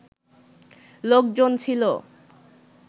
লোকজন ছিল